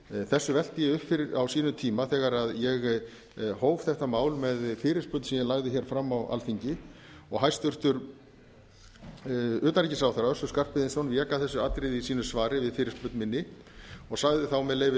þessu velti ég upp á sínum tíma þegar ég hóf þetta mál með fyrirspurn sem ég lagði hér fram á alþingi og hæstvirtur utanríkisráðherra össur skarphéðinsson vék að þessu atriði í sínu svari við fyrirspurn minni og sagði þá með leyfi